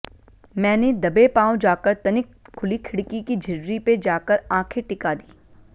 मैंने दबे पाँव जाकर तनिक खुली खिड़की की झिर्री पे जाकर आँखे टिका दी